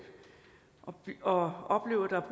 og opleve at der